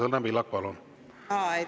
Õnne Pillak, palun!